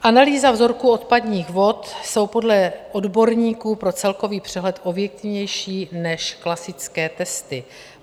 Analýzy vzorku odpadních vod jsou podle odborníků pro celkový přehled objektivnější než klasické testy.